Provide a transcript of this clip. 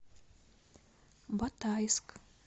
батайск